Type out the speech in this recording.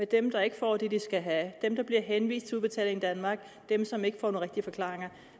dem der ikke får det de skal have dem der bliver henvist til udbetaling danmark dem som ikke får nogle rigtige forklaringer